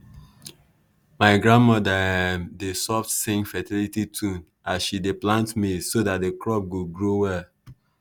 my grandmother um dey soft sing fertility tune as she dey plant maize so that the crop go grow well.